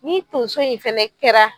Ni tonso in fɛnɛ kɛra